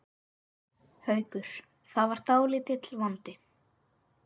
Haukur: Var það dálítill vandi?